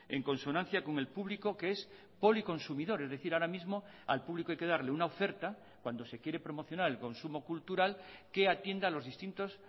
en consonancia con el público que es policonsumidor es decir ahora mismo al público hay que darle una oferta cuando se quiere promocionar el consumo cultural que atienda a los distintos